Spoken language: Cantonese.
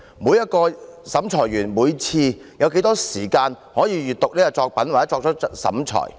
每名審裁委員每次有多少時間閱讀作品以作出審裁？